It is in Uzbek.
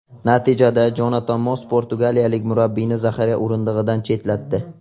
Natijada Jonatan Moss portugaliyalik murabbiyni zaxira o‘rindig‘idan chetlatdi .